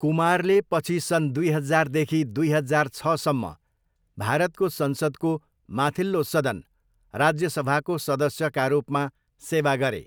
कुमारले पछि सन् दुई हजारदेखि दुई हजार छसम्म भारतको संसदको माथिल्लो सदन राज्यसभाको सदस्यका रूपमा सेवा गरे।